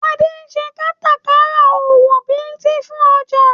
Adé ń ṣe kátàkárà owó Bíìtì fún ọjà